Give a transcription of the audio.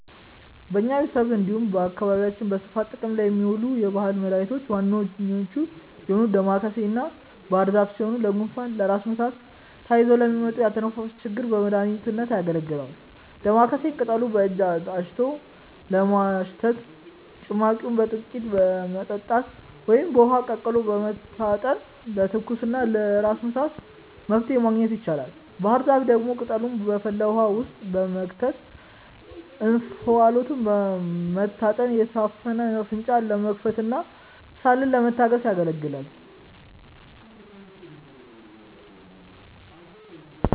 በኛ ቤተሰብ እንዲሁም በአካባቢያችን በስፋት ጥቅም ላይ ከሚውሉ የባህል መድኃኒቶች ዋነኞቹ የሆኑት ዳማከሴና ባህርዛፍ ሲሆኑ ለጉንፋን፣ ለራስ ምታትና ተያይዘው ለሚመጡ የአተነፋፈስ ችግሮች በመድሀኒትነት ያገለግላሉ። ዳማከሴን ቅጠሉን በእጅ አሽቶ በማሽተት፣ ጭማቂውን በጥቂቱ በመጠጣት ወይም በውሃ ቀቅሎ በመታጠን ለትኩሳትና ለራስ ምታት መፍትሔ ማግኘት ይቻላል። ባህርዛፍ ደግሞ ቅጠሉን በፈላ ውሃ ውስጥ በመክተት እንፋሎቱን መታጠን የታፈነ አፍንጫን ለመክፈትና ሳልን ለማስታገስ ያገለግላል።